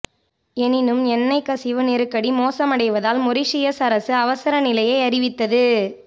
எனினும் எண்ணெய் கசிவு நெருக்கடி மோசமடைவதால் மொரீஷியஸ் அரசு அவசர நிலையை அறிவித்தது